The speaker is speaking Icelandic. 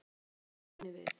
Bætir Guðni við.